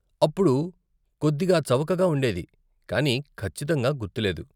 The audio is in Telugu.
అప్పుడు కొద్దిగా చవకగా ఉండేది, కానీ ఖచ్చితంగా గుర్తు లేదు.